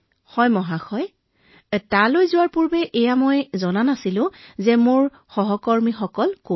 হয় মহোদয় মই তালৈ যোৱাৰ আগতে মই নাজানিছিলো মোৰ সহকৰ্মীসকল কোন